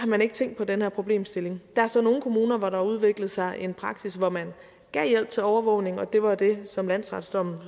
man ikke tænkt på den her problemstilling der er så nogle kommuner hvor der har udviklet sig en praksis hvor man gav hjælp til overvågning og det var jo det som landsretsdommen